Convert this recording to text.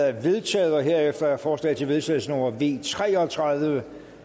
er vedtaget herefter er forslag til vedtagelse nummer v tre og tredive